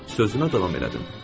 Sözünə davam elədim.